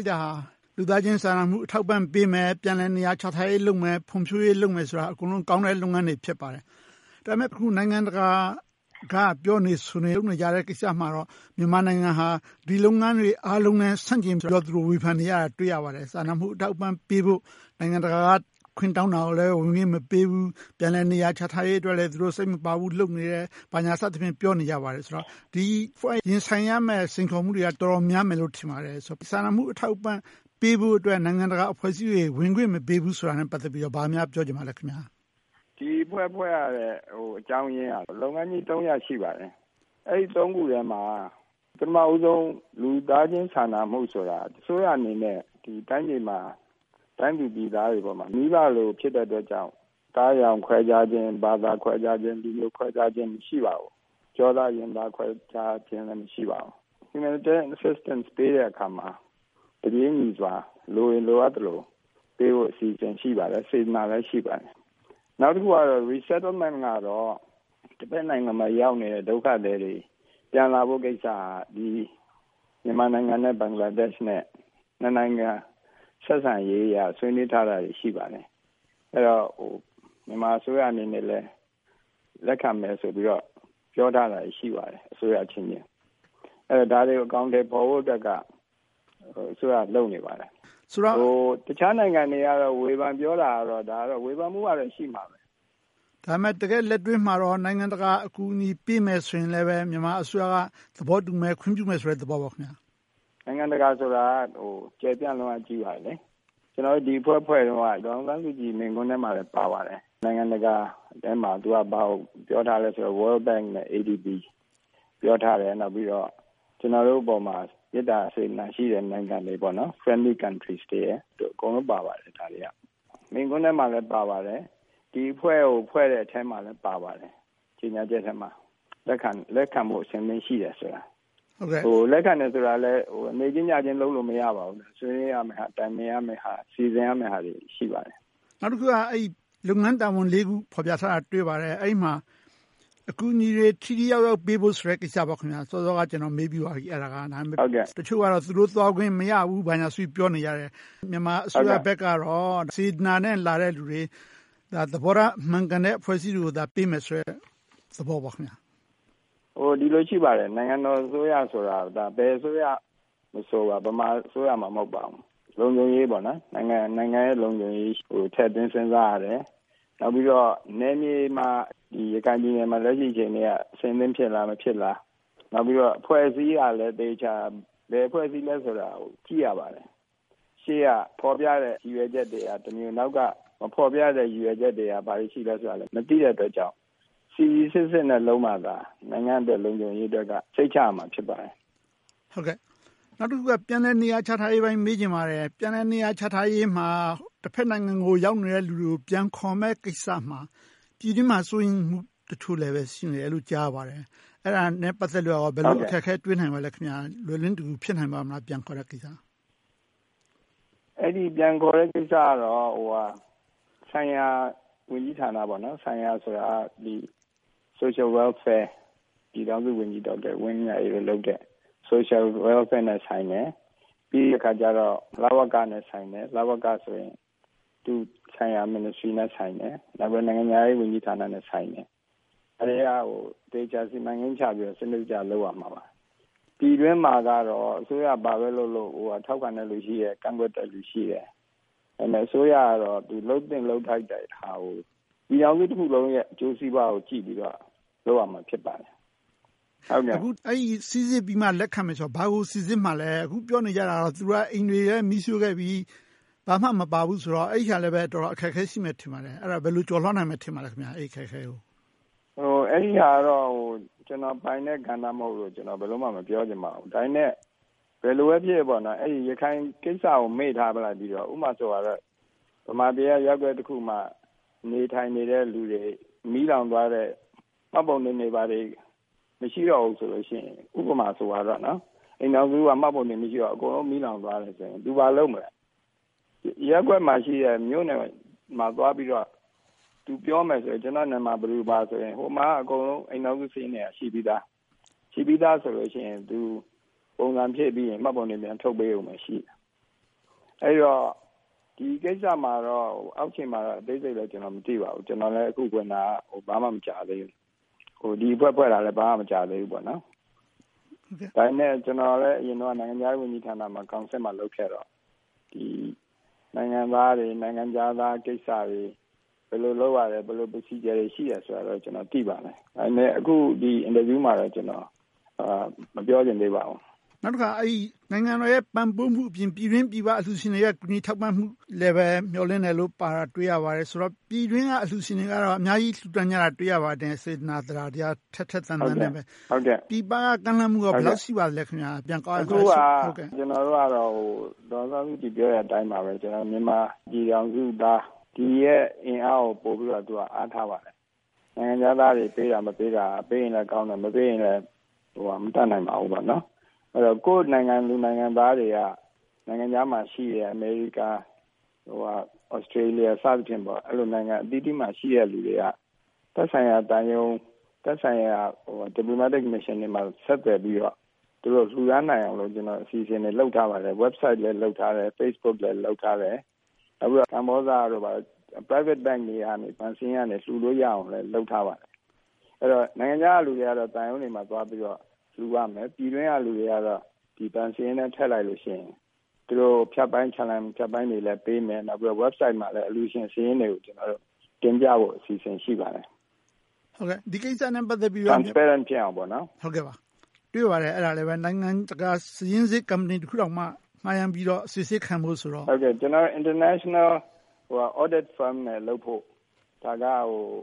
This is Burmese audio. က်တာ လူသားချင်းစာနာမှု အထောက်အပံ့ပေးမယ်။ ပြန်လည်နေရာချထားရေးလုပ်မယ်။ ဖွံ့ဖြိုးရေးလုပ်မယ်ဆိုတာ အကုန်လုံးကောင်းတဲ့ လုပ်ငန်းတွေ ဖြစ်ပါတယ်။ ဒါပေမဲ့ အခု နိုင်ငံတကာက ပြောနေဆိုနေ လုပ်နေကြတဲ့ကိစ္စမှာတော့ မြန်မာနိုင်ငံဟာ ဒီလုပ်ငန်းတွေနဲ့ အားလုံးနဲ့ ဆန့်ကျင်ပြီးတော့ သူတို့ ဝေဖန်နေကြတာကို တွေ့ရပါတယ်။ စာနာမှုအထောက်အပံ့ပေးဖို့ နိုင်ငံတကာက ခွင့်တောင်းတာကိုလည်း ဝင်ခွင့်မပေးဘူး။ ပြန်လည်နေရာချထားရေးအတွက်လည်း စိတ်မပါဘူး လုပ်နေတယ်။ ဘာညာစသဖြင့် ပြောနေကြပါတယ်။ ဒီအဖွဲ့ ရင်ဆိုင်နေရတဲ့ စိန်ခေါ်မှုတွေက တော်တော်များမယ်လို့ ထင်ပါတယ်။ စာနာမှုအထောက်အပံ့ ပေးဖို့အတွက် နိုင်ငံတကာအဖွဲ့အစည်းတွေ ဝင်ခွင့်မပေးဘူးဆိုတာနဲ့ ပတ်သက်ပြီးတော့ ဘာများပြောချင်ပါလဲ။ ဒီအဖွဲ့ ဖွဲ့ရတဲ့အကြောင်းရင်းက လုပ်ငန်းကြီး ရပ် ရှိပါတယ်။ အဲဒီ ခုထဲမှာ ပထမဦးဆုံး လူသားချင်းစာနာမှုဆိုတာ အစိုးရအနေနဲ့ တိုင်းသူပြည်သားတွေပေါ်မှာ မိဘလို ဖြစ်တဲ့အတွက်ကြောင့် အသားအရောင် ခွဲခြားခြင်း၊ ဘာသာခွဲခြားခြင်း၊ လူမျိုးခွဲခြားခြင်း မရှိပါဘူး။ ကျောသားရင်သား ခွဲခြားခြင်းလည်း မရှိပါဘူး။ Humanitarian Assistance ပေးတဲ့အခါမှာ တပြေညီစွာ လိုရင်လိုအပ်သလို ပေးဖို့ အစီအစဉ် ရှိပါတယ်။ စေတနာလည်း ရှိပါတယ်။ နောက်တခုကတော့ Resettlement ကတော့ တဘက်နိုင်ငံမှာ ရောက်ရှိနေတဲ့ ဒုက္ခသည်တွေ ပြန်လာဖို့ကိစ္စက မြန်မာနိုင်ငံနဲ့ ဘင်္ဂလားဒေ့ရှ်တို့ နှစ်နိုင်ငံ ဆက်ဆံရေးအရ ဆွေးနွေးထားတာတွေ ရှိပါတယ်။ မြန်မာအစိုးရအနေနဲ့လည်း လက်ခံမယ်ဆိုပြီးတော့ ပြောထားတာ ရှိပါတယ်။ ဒါတွေကို အကောင်အထည် ဖော်ဖို့အတွက်က အစိုးရက လုပ်နေပါတယ်။ တခြားနိုင်ငံတွေက ဝေဖန်ပြောတာကတော့ ဝေဖန်မှုကတော့ ရှိမှာပဲ။ ဒါပေမဲ့ တကယ့်လက်တွေ့မှာတော့ နိုင်ငံတကာ အကူအညီပေးမယ်ဆိုရင်လည်း မြန်မာအစိုးရက သဘောတူမယ်။ ခွင့်ပြုမယ်ဆိုတဲ့ သဘောပေါ့။ နိုင်ငံတကာဆိုတာ ကျယ်ပြန့်လွန်ပါတယ်။ ကျနော်တို့ ဒီအဖွဲ့ ဖွဲ့တုန်းက ဒေါ်အောင်ဆန်းစုကြည်ပြောတဲ့ မိန့်ခွန်းထဲမှာလည်း ပါပါတယ်။ နိုင်ငံတကာထဲမှာ သူက ဘာကိုပြောထားလဲဆိုတော့ World Bank, ADB ကို ပြောထားတယ်။ နောက်ပြီးတော့ ကျနော်တို့အပေါ်မှာ မေတ္တာ၊ စေတနာရှိတဲ့ နိုင်ငံတွေ Friendly countries တွေ အကုန်လုံးပါပါတယ်။ မိန့်ခွန်းထဲမှာလည်း ပါပါတယ်။ ဒီအဖွဲ့ကို ဖွဲ့တဲ့အထဲမှာ ကြေညာချက်ထဲမှာ လက်ခံဖို့ အဆင်သင့်ရှိတယ်ဆိုတာ။ လက်ခံတယ်ဆိုတာကလဲ နေ့ချင်းညချင်း လုပ်လို့မရပါဘူး။ ဆွေးနွေးရမယ့်ဟာ၊ တိုင်ပင်ရမယ့်ဟာ၊ စီစဉ်ရမယ့်ဟာတွေ ရှိပါတယ်။ နောက်တခုက လုပ်ငန်းတာဝန် ခု တင်ပြထားတာ တွေ့ပါတယ်။ အဲဒီမှာ အကူအညီတွေ ထိထိရောက်ရောက် ပေးဖို့ဆိုတဲ့ ကိစ္စပါ။ စောစောက ကျနော် မေးပြီးပါပြီ။ တချို့ကတော့ သူတို့သွားခွင့်မရဘူး ဘာညာဆိုပြီး ပြောနေကြတယ်။ မြန်မာအစိုးရဘက်ကတော့ စေတနာနဲ့ လာတဲ့လူတွေ၊ သဘောထား မှန်ကန်တဲ့ အဖွဲ့အစည်းတွေကိုသာ ပေးမယ်ဆိုတဲ့ သဘောပေါ့။ ဒီလိုရှိပါတယ် နိုင်ငံတော်အစိုးရဆိုတာက ဘယ်အစိုးရမဆို ဗမာအစိုးရမှ မဟုတ်ပါဘူး။ လုံခြုံရေး၊ နိုင်ငံရဲ့ လုံခြုံရေးကို ထည့်သွင်းစဉ်းစားရတယ်။ နောက်ပြီးတော့ နယ်မြေမှာ ရခိုင်ပြည်နယ်မှာ လက်ရှိအခြေအနေမှာ အဆင်သင့်ဖြစ်လား။ မဖြစ်လား။ နောက်ပြီးတော့ အဖွဲ့အစည်းအရလည်း အသေအခြာ ဘယ်အဖွဲ့အစည်းလဲဆိုတာကို ကြည့်ရပါတယ်။ ရှေ့ကဖော်ပြတဲ့ ရည်ရွယ်ချက်တွေကတမျိုး နောက်က မဖော်ပြတဲ့ ရည်ရွယ်ချက်တွေက ဘာတွေရှိသလဲဆိုတာကို မသိရတဲ့အတွက်ကြောင့် စီစီစစ်စစ်နဲ့ လုပ်မှသာ နိုင်ငံအတွက်၊ လုံခြုံရေးအတွက် စိတ်ချရမှာ ဖြစ်ပါတယ်။ နောက်တခုက ပြန်လည်နေရာချထားရေးကိစ္စကို မေးချင်ပါတယ်။ ပြန်လည်နေရာချထားရေးမှာ တဘက်နိုင်ငံကို ရောက်နေတဲ့လူတွေကို ပြန်ခေါ်မယ့်ကိစ္စမှာ ပြည်တွင်းမှာ စိုးရိမ်မှုတချို့လည်း ရှိနေတယ်လို့ ကြားသိရပါတယ်။ အဲဒါနဲ့ ပတ်သက်လို့ ဘယ်လို အခက်အခဲတွေ တွေ့နိုင်ပါလဲ။ ပြန်ခေါ်ဖို့အတွက် ဖြစ်နိုင်ပါ့မလား။ ပြန်ခေါ်ဖို့ကိစ္စကတော့ ဆိုင်ရာဝန်ကြီးဌာန - Social Welfare ပြည်ထောင်စုဝန်ကြီး ဒေါက်တာဝင်းမြတ်အေးတို့လုပ်တဲ့ အလုပ်နဲ့ဆိုင်မယ်။ ပြီးတော့ လဝကနဲ့ဆိုင်မယ်။ လဝကဆိုရင် သက်ဆိုင်ရာ ဝန်ကြီးဌာနနဲ့ဆိုင်မယ်။ နောက် နိုင်ငံခြားရေးဝန်ကြီးဌာနနဲ့ ဆိုင်မယ်။ အဲဒါတွေကို သေချာစီမံကိန်းချပြီးတော့ လုပ်ရပါမယ်။ ပြည်တွင်းမှာတော့ အစိုးရ ဘာပဲလုပ်လုပ် ထောက်ခံတဲ့လူရှိတယ်။ ကန့်ကွက်တဲ့လူရှိတယ်။ အစိုးရကတော့ သူ လုပ်သင့်လုပ်ထိုက်တဲ့ဟာကို ပြည်ထောင်စုတခုလုံးရဲ့ အကျိုးစီးပွားကို ကြည့်ပြီးတော့ လုပ်ရမှာ ဖြစ်ပါတယ်။ စီစစ်ပြီးတော့ လက်ခံမယ်ဆိုတာ ဘာကို စီစစ်မှာလဲ။ အခုပြောနေကြတာ သူတို့တွေက အိမ်တွေလည်း မီးရှို့ခဲ့ပြီ။ ဘာမှမပါဘူးဆိုတော့ အဲဒါလဲ တော်တော်လေး အခက်အခဲရှိမယ် ထင်ပါတယ်။ အဲဒါကို ဘယ်လိုကျော်လွှာနိုင်မယ်လို့ ထင်ပါလဲ။ အဲဒါကတော့ ကျနော်ပိုင်တဲ့ ကဏ္ဍ မဟုတ်လို့ ဘယ်လိုမှ မပြောချင်ပါဘူး။ ဒါပေမဲ့ ဘယ်လိုပဲဖြစ်ဖြစ် ရခိုင်ကိစ္စကို မေ့ထားလိုက်ပြီးတော့ ဥပမာ ဗမာပြည်က ရပ်ကွက်တခုမှာ နေထိုင်နေတဲ့လူတွေ မီးလောင်သွားတဲ့အခါ မှတ်ပုံတင်တွေ ဘာတွေ မရှိတော့ဘူးဆိုရင် ဥပမာဆိုရင် အိမ်ထောင်စုက မှတ်ပုံတင် မရှိတော့ဘူး။ အကုန်လုံး မီးလောင်သွားတယ်ဆိုရင် သူ ဘာလုပ်မလဲ - ရပ်ကွက်မှာရှိတဲ့ မြို့နယ်မှာသွားပြီးတော့ သူပြောမယ် - ကျနော်နာမည် ဘယ်သူဘယ်ဝါဆိုရင် ဟိုမှာက အိမ်ထောင်စုစာရင်းတွေက ရှိပြီသာ။ ရှိပြီသာဆိုရင် ပုံစံဖြည့်ပြီးရင် မှတ်ပုံတင် ပြန်ထုတ်ပေးရုံပဲရှိမယ်။ အဲဒီတော့ ဒီကိစ္စမှာတော့ အောက်ခြေမှာတော့ အသေးစိတ်လည်း မသိပါဘူး။ ကျနော်လည်း အခုဝင်တာ ဘာမှ သိပ်မကြာသေးဘူး။ ဒီအဖွဲ့ ဖွဲ့တာလည်း ဘာမှမကြာသေးဘူး။ ဒါပေမဲ့ ကျနော်လည်း အရင်တုန်းက နိုင်ငံခြားရေးဝန်ကြီးဌာနမှာ ကောင်စစ်မှာ လုပ်ခဲ့တော့ နိုင်ငံသားတွေ၊ နိုင်ငံခြားသားကိစ္စတွေ ဘယ်လိုလုပ်ရတယ်၊ ဘယ်လို Procedure တွေ ရှိတယ်ဆိုတာတော့ ကျနော် သိပါတယ်။ ဒါပေမဲ့ အခု ဒီအင်တာဗျူးမှာတော့ မပြောချင်သေးပါဘူး။ နောက်တခါ နိုင်ငံတော်ရဲ့ ပံ့ပိုးမှုအပြင် ပြည်တွင်းပြည်ပ အလှုရှင်တွေရဲ့ ကူညီထောက်ပံ့မှုလည်း မျှော်လင့်တယ်လို့ ပြောထားတာကို တွေ့ရပါတယ်။ ဆိုတော့ ပြည်တွင်းက အလှုရှင်တွေကတော့ အများကြီး လှုဒါန်းကြတာ တွေ့ရပါတယ်။ စေတနာ၊ သဒ္ဒါတရား ထက်ထက်သန်သန်နဲ့ ပြည်ပက ကမ်းလှမ်းမှုတွေ ဘယ်လောက်ရှိပါလဲ။ အခုက ကျနော်တို့ကတော့ ဒေါ်အောင်ဆန်းစုကြည် ပြောတဲ့အတိုင်းပါပဲ။ မြန်မာပြည်ထောင်စုသားတွေရဲ့ အင်အားကို ပိုပြီးတော့ အားထားပါတယ်။ နိုင်ငံခြားသားတွေ ပေးတာမပေးတာ - ပေးရင်လဲကောင်းတယ်။ မပေးရင်လဲ မတတ်နိုင်ပါဘူးပေါ့။ ကိုယ့်နိုင်ငံသူ နိုင်ငံသားတွေက နိုင်ငံခြားမှာရှိတဲ့ America, Australia စသည်ဖြင့် အဲဒီလို နိုင်ငံအသီးသီးမှာရှိတဲ့ လူတွေက သက်ဆိုင်ရာသံရုံး၊ သက်ဆိုင်ရာ diplomatic missions တွေမှာ ဆက်သွယ်ပြီးတော့ လှုဒါန်းနိုင်အောင် အစီအစဉ်တွေ လုပ်ထားပါတယ်။ Website လည်း လုပ်ထားတယ်။ Facebook လည်း လုပ်ထားတယ်။ နောက်ပြီးတော့ ကမ္ဘောဇ Private Bank တွေကနေ လှုလို့ရအောင် လုပ်ထားပါတယ်။ အဲဒီတော့ နိုင်ငံခြားကလူတွေကတော့ သံရုံးတွေမှာသွားပြီးတော့ လှုနိုင်တယ်။ ပြည်တွင်းကလူတွေကတော့ ဘဏ်စာရင်းထဲ ထည့်လိုက်လို့ရှိရင် ဖြတ်ပိုင်း ချလန်တွေလည်းပေးမယ်။ Website မှာလည်း အလှုရှင်စာရင်းတွေကို တင်ပြဖို့ အစီအစဉ် ရှိပါတယ်။ Transparent ဖြစ်အောင်ပါ။ တွေ့ပါတယ်။ နိုင်ငံတကာ စာရင်းစစ်ကုမ္ပဏီတခုတောင်မှ ငှားရမ်းပြီးတော့ စီစစ်ခံဖို့ဆိုတော့… International Audit Firm နဲ့ လုပ်ဖို့ ဒါက ဒေါ်အောင်